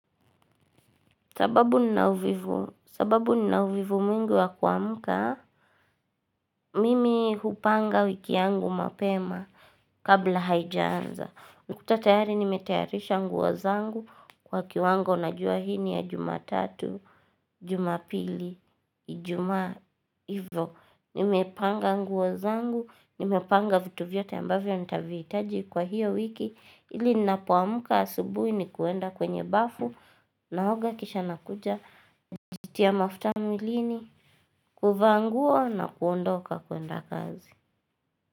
Sababu nina uvivu mwingi wa kuamuka, mimi hupanga wiki yangu mapema kabla haijanza. Nakutatayari nimetayarisha nguozangu kwa kiwango na jua hii ni ya jumatatu, jumapili, ijumaa ivo. Nimepanga nguozangu, nimepanga vitu vyote ambavyo nitavihitaji kwa hiyo wiki. Ili nina poamka asubuhi na kuenda kwenye bafu naoga kisha nakuja jitia mafutamw ilini huvaanguo na kuondoka kuenda kazi.